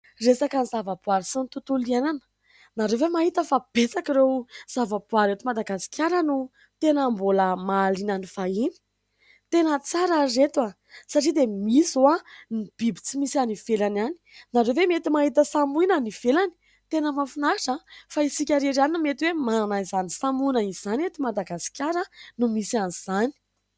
Resaka zavaboary sy tontolo iainana, ianareo ve mahita fa betsaka ireo zavaboary eto Madagasikara no tena mbola mahaliana ny vahiny, tena tsara ry reto ah, satria dia misy zao biby tsy misy any ivelany any. Ianareo ve mety mahita samoina any ivelany? Tena mahafinaritra an, fa isika irery ihany no mety manana izany samoina izany; eto Madagasikara no misy an'izany.